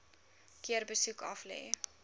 keer besoek aflê